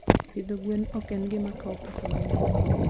Pidho gwen ok en gima kawo pesa mang'eny.